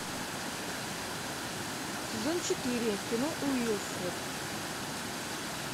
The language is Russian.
сезон четыре кино уилфред